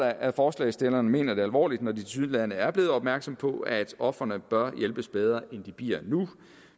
at forslagsstillerne mener det alvorligt når de tilsyneladende er blevet opmærksomme på at ofrene bør hjælpes bedre end de bliver nu